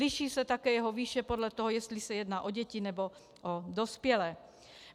Liší se také jeho výše podle toho, jestli se jedná o děti, nebo o dospělé.